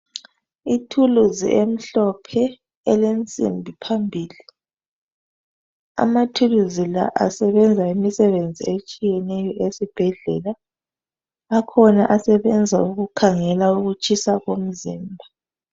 Ithuluzi emhlophe elensimbi phambili, amathuluzi la asebenza imisebenzi etshiyeneyo esibhedlela. Akhona asebenza ukukhangela ukutshisa komzimba.